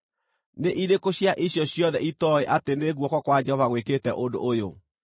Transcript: Nĩ irĩkũ cia icio ciothe itooĩ atĩ nĩ guoko kwa Jehova gwĩkĩte ũndũ ũyũ?